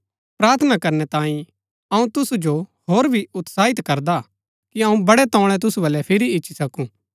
प्रार्थना करनै तांई अऊँ तुसु जो होर भी उत्साहित करदा हा कि अऊँ बड़ै तोळै तुसु बल्लै फिरी इच्ची सकू